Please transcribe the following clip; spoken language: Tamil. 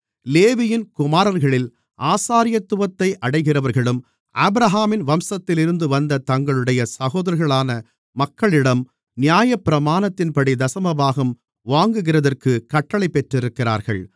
லேவியின் குமாரர்களில் ஆசாரியத்துவத்தை அடைகிறவர்களும் ஆபிரகாமின் வம்சத்திலிருந்து வந்த தங்களுடைய சகோதரர்களான மக்களிடம் நியாயப்பிரமாணத்தின்படி தசமபாகம் வாங்குகிறதற்குக் கட்டளைப் பெற்றிருக்கிறார்கள்